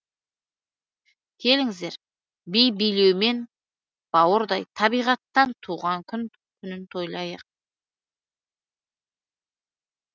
келіңіздер би билеумен бауырдай табиғаттың туған күнін тойлайық